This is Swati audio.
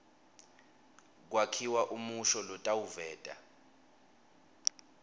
kwakhiwa umusho lotawuveta